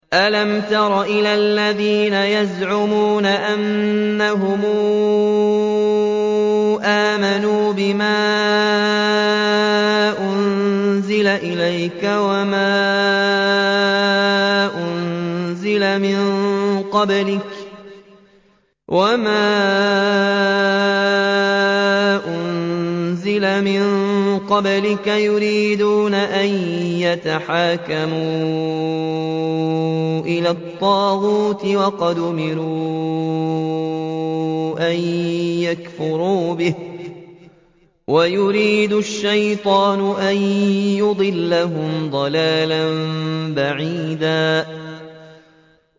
أَلَمْ تَرَ إِلَى الَّذِينَ يَزْعُمُونَ أَنَّهُمْ آمَنُوا بِمَا أُنزِلَ إِلَيْكَ وَمَا أُنزِلَ مِن قَبْلِكَ يُرِيدُونَ أَن يَتَحَاكَمُوا إِلَى الطَّاغُوتِ وَقَدْ أُمِرُوا أَن يَكْفُرُوا بِهِ وَيُرِيدُ الشَّيْطَانُ أَن يُضِلَّهُمْ ضَلَالًا بَعِيدًا